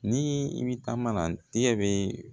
Ni i bi taa mana tigɛ bɛ